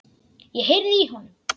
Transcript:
Ég heyrði í honum!